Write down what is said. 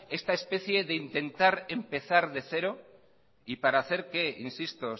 esta especie de intentar empezar de cero y para hacer qué insisto